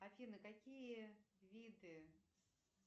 афина какие виды